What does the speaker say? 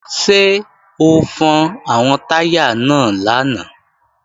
Ṣé o fọn àwọn táyà náà lánàá?